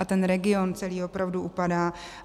A ten region celý opravdu upadá.